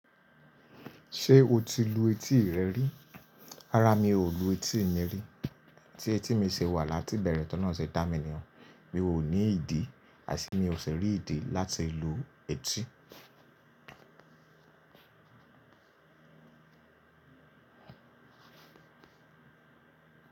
Ṣé o ti lu etí rẹ rí? Rárá mi ò lu etí mi rí. Ti etí mi ṣe wà láti ìbẹ̀rẹ̀ t'olohun se dá mi ni ọ́n. Mi ò ní ìdí àti mi ò si rí ìdí láti lu etí.